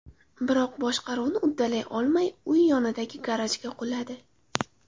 Biroq boshqaruvni uddalay olmay, uy yonidagi garajga quladi.